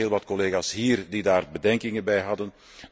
Er waren heel wat collega's hier die daar bedenkingen bij hadden.